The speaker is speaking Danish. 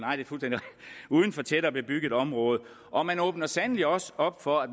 uden for tættere bebygget område og man åbner sandelig også op for at